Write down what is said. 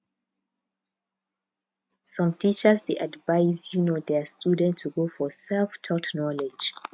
some teachers dey advice um their students to go for selftaught knowledge